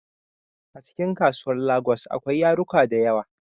Acikin kasuwar lagos akwai yaruka dayawa